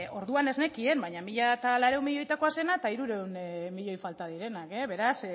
orduan ez nekien baina mila laurehun milioietako zena eta hirurehun milioi falta direnak beraz